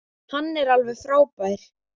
Hann er alveg frábær.